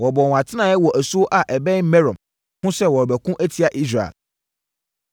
Wɔbɔɔ wɔn atenaeɛ wɔ asuo a ɛbɛn Merom ho sɛ wɔrebɛko atia Israel.